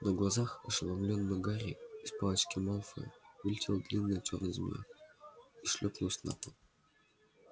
на глазах ошеломлённого гарри из палочки малфоя вылетела длинная чёрная змея и шлёпнулась на пол